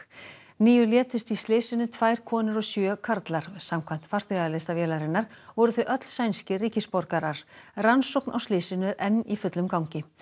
níu létust í slysinu tvær konur og sjö karlar samkvæmt farþegalista vélarinnar voru þau öll sænskir ríkisborgarar rannsókn á slysinu er enn í fullum gangi